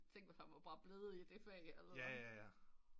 Tænk hvis han var bare blevet i det fag altså